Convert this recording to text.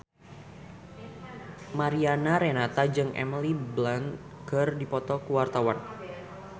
Mariana Renata jeung Emily Blunt keur dipoto ku wartawan